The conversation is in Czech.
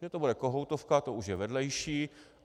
Že to bude kohoutovka, to už je vedlejší.